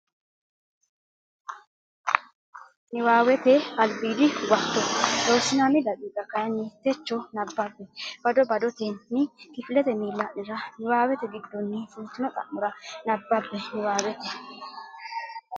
Niwaawete Albiidi Huwato Loossinanni daqiiqa kayinni techo nabbambe bado badotenni kifilete miilla nera niwaawete giddonni fultino xa mora nabbabbe Niwaawete.